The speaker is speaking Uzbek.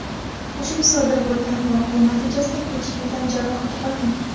Ushbu sodir bo‘lgan voqea natijasida hech kim tan jarohati olmagan.